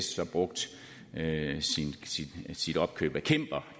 sas brugt sit opkøb af cimber